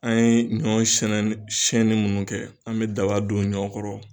An ye ɲɔ sɛnɛ siɲɛnin minnu kɛ, an bɛ daba don ɲɔ kɔrɔ.